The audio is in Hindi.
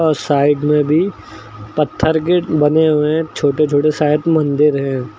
और साइड में भी पत्थर गेट बने हुए हैं छोटे छोटे शायद मंदिर हैं।